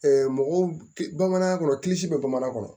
mɔgɔw bamanan kɔnɔ bɛ bamanan kɔnɔ